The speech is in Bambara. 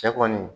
Cɛ kɔni